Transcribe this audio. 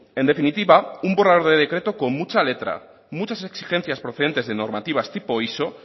en definitiva un borrador de decreto con mucha letra muchas exigencias procedente de normativas tipo iso